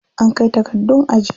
An kai takardun aji.